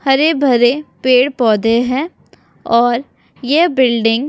हरे -भरे पेड़ -पौधे है और ये बिल्डिंग --